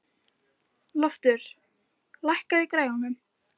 Loftur, lækkaðu í græjunum.